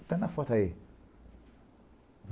Está na foto aí.